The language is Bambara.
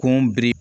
Kun biri